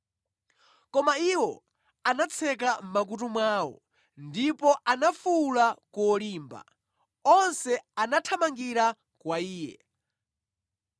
Koma iwo anatseka mʼmakutu mwawo, ndipo anafuwula kolimba, onse anathamangira kwa iye,